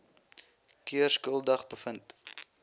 keer skuldig bevind